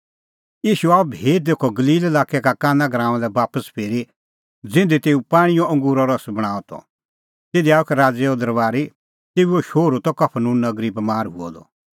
ईशू आअ भी तेखअ गलील लाक्के काना गराऊंआं लै बापस फिरी ज़िधी तेऊ पाणींओ अंगूरो रस बणांअ त तिधी आअ एक राज़ैओ अफसर तेऊओ शोहरू त कफरनहूम नगरी बमार हुअ द